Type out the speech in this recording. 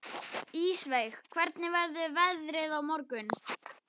Ísveig, hvernig verður veðrið á morgun?